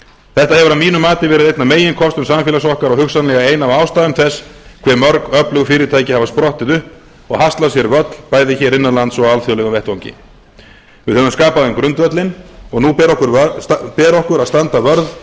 þetta hefur að mínu mati verið einn af meginkostum samfélags okkar og hugsanlega ein af ástæðum þess hve mörg öflug fyrirtæki hafa sprottið upp og haslað sér völl bæði hér innan lands og á alþjóðlegum vettvangi við höfum skapað þeim grundvöllinn og nú ber okkur að standa vörð